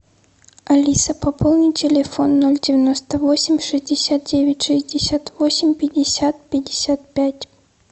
алиса пополни телефон ноль девяносто восемь шестьдесят девять шестьдесят восемь пятьдесят пятьдесят пять